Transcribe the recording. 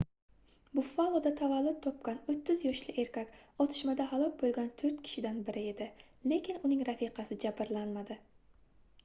buffaloda tavallud topgan 30 yoshli erkak otishmada halok boʻlgan toʻrt kishidan biri edi lekin uning rafiqasi jabrlanmadi